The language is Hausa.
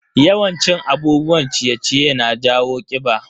Yawan cin abubuwan ciye-ciye na jawo kiɓa.